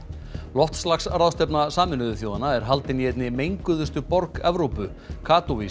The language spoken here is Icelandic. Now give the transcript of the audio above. loftslagsráðstefna Sameinuðu þjóðanna er haldin í einni menguðustu borg Evrópu